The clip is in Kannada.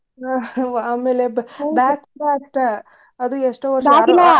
ಆಮ್ಯಾಲೆ ಬಾ~ bag ಕೂಡ ಅಷ್ಟ ಅದು ಎಷ್ಟೋ .